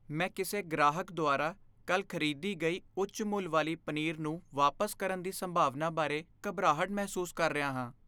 ਮੈਂ ਕਿਸੇ ਗ੍ਰਾਹਕ ਦੁਆਰਾ ਕੱਲ੍ਹ ਖ਼ਰੀਦੀ ਗਈ ਉੱਚ ਮੁੱਲ ਵਾਲੀ ਪਨੀਰ ਨੂੰ ਵਾਪਸ ਕਰਨ ਦੀ ਸੰਭਾਵਨਾ ਬਾਰੇ ਘਬਰਾਹਟ ਮਹਿਸੂਸ ਕਰ ਰਿਹਾ ਹਾਂ